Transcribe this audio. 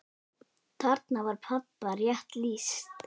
Þarna var pabba rétt lýst.